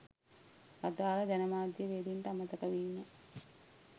අදාළ ජනමාධ්‍යවේදීන්ට අමතක වීම